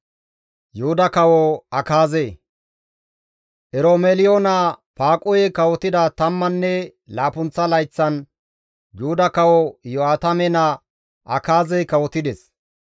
Eromeliyo naa Faaquhey kawotida tammanne laappunththa layththan Yuhuda kawo Iyo7aatame naa Akaazey kawotides.